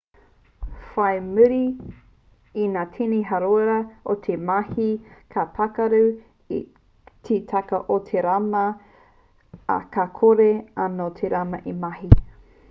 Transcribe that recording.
whai muri i ngā tini hāora o te mahi ka pakarū te kaka o te rama ā ka kore anō te rama e mahi